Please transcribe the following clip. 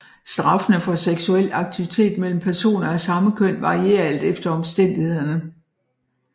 Straffene for seksuel aktivitet mellem personer af samme køn varierer alt efter omstændighederne